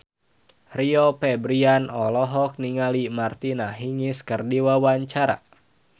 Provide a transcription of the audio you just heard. Rio Febrian olohok ningali Martina Hingis keur diwawancara